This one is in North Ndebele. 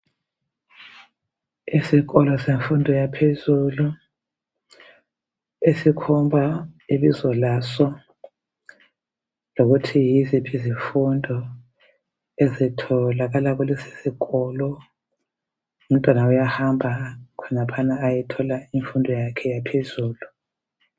Isikolo semfundo yaphezulu esikhomba ibizo laso lokuthi yiziphi izifundo ezitholakala kulesi sikolo umntwana uyahamba laphana ayethola imfundo yakhe yaphezulu.